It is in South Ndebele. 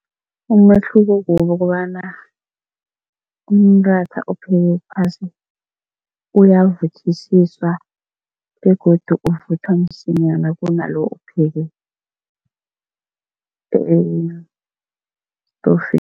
Umehluko kukobana umratha ophekwe phasi uyavuthisiswa begodu uvuthwa msinyana kunalo ophekwe estofini.